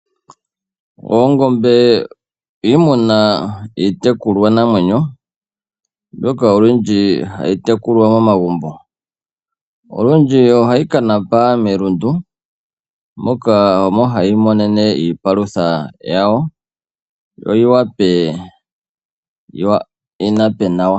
Oongombe iimuna iitekulwa namwenyo mbyoka olundji hayi tekulwa momagumbo. Olundji ohayi kanapa melundu, moka omo hayi monene iipalutha yawo, yo yi wape yi nape nawa.